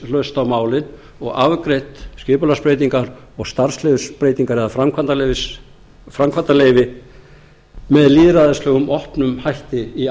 hlutdrægnislaust á málin og afgreitt skipulagsbreytingar og starfsleyfisbreytingar eða framkvæmdarleyfi með lýðræðislegum opnum hætti í